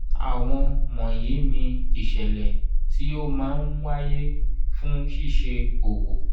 àwọn wọ̀nyí ni ìṣẹ̀lẹ̀ tí ó máa ń wáyé fún ṣíṣe òwò.